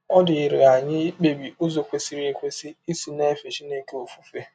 Ọ dịghịrị anyị ikpebi ụzọ kwesịrị ekwesị isi na - efe Chineke ọfụfe.